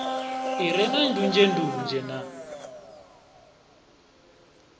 i re na ndunzhendunzhe na